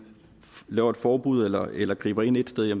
laver et forbud eller eller griber ind et sted er